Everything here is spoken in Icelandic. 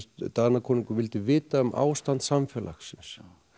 Danakonungur vildi vita um ástand samfélagsins